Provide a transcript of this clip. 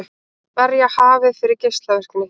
Verja hafið fyrir geislavirkni